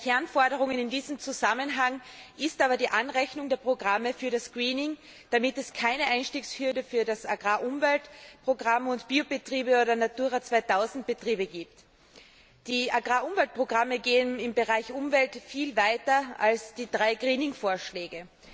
Eine der Kernforderungen in diesem Zusammenhang ist aber die Anrechnung der Programme für das Greening damit es keine Einstiegshürde für das Agrar Umweltprogramm und Biobetriebe oder Natura 2000 Betriebe gibt. Die Agrar Umweltprogramme gehen im Bereich Umwelt viel weiter als die drei Greening Vorschläge.